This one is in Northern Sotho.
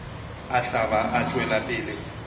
a hlaba a tšwela pele